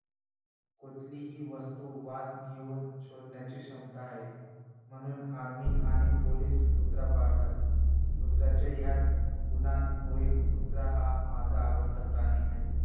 कुठलीही वस्तू वास घेऊन शोधण्याची क्षमता आहे. म्हणून Army आणि police कुत्रा पाळतात कुत्र्याच्या ह्याच गुणांमुळे कुत्रा हा माझा आवडता प्राणी आहे